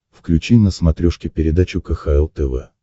включи на смотрешке передачу кхл тв